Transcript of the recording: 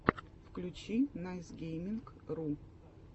включи найсгейминг ру